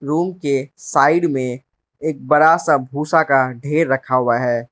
Room के side में एक बड़ा सा भूसा का ढेर रखा हुआ है।